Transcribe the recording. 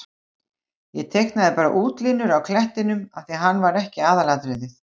Ég teiknaði bara útlínurnar á klettinum af því að hann er ekki aðalatriðið.